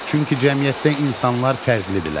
Çünki cəmiyyətdə insanlar fərqlidirlər.